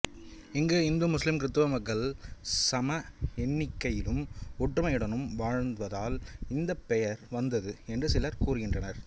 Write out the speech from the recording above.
இங்கு இந்துமுஸ்லிம்கிருத்துவ மக்கள் சம எண்ணிக்கையிலும் ஒற்றுமையுடனும் வாழ்வதால் இந்தப் பெயர் வந்தது என்று சிலர் கூறுகின்றனர்